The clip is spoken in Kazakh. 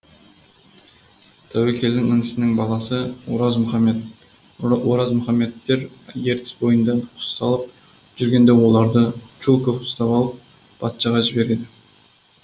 тәуекелдің інісінің баласы оразмұхаммед оразмұхаммедтер ертіс бойында құс салып жүргенде оларды чулков ұстап алып патшаға жібереді